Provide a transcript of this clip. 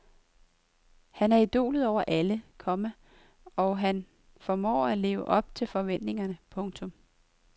Han er idolet over alle, komma og han formår at leve op til forventningerne. punktum